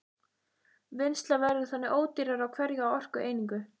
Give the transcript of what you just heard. Vinnsla verður þannig ódýrari á hverja orkueiningu.